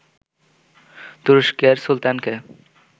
তুরস্কের সুলতানকে